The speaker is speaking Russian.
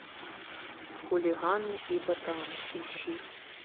хулиганы и ботаны ищи